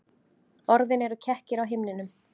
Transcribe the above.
Orðin eru kekkir á himninum.